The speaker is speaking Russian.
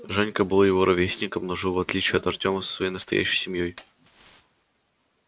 женька был его ровесником но жил в отличие от артёма со своей настоящей семьёй